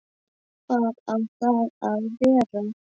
Hvar á það að vera?